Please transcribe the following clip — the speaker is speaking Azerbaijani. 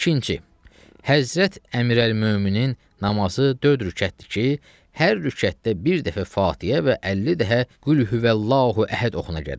İkinci: Həzrət Əmirəl-möminin namazı dörd rükətdir ki, hər rükətdə bir dəfə Fatihə və 50 dəfə "Qul huvəllahu əhəd" oxuna gərək.